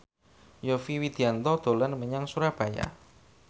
Yovie Widianto dolan menyang Surabaya